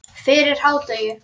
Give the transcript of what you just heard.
Fyrir hádegi.